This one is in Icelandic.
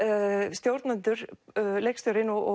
stjórnendur leikstjórinn og